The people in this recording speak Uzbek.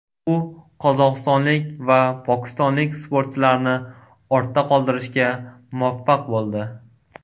U qozog‘istonlik va pokistonlik sportchilarni ortda qoldirishga muvaffaq bo‘ldi.